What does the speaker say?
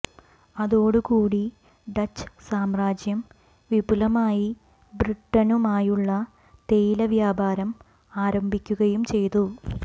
അതോടുകൂടി ഡച്ച് സാമ്രാജ്യം വിപുലമായി ബ്രിട്ടണുമായുള്ള തേയില വ്യാപാരം ആരംഭിക്കുകയും ചെയ്തു